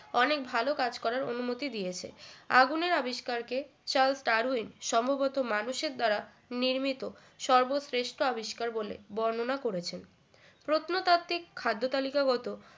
অনেক ভালো কাজ করার অনুমতি দিয়েছে আগুনের আবিষ্কার কে চার্লস ডারউইন সম্ভবত মানুষের দ্বারা নির্মিত সর্বশ্রেষ্ঠ আবিষ্কার বলে বর্ণনা করেছেন প্রত্নতাত্ত্বিক খাদ্যতালিকাগত